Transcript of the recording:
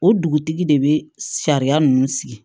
O dugutigi de bɛ sariya ninnu sigi